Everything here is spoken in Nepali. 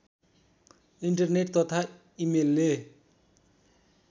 इन्टरनेट तथा इमेलले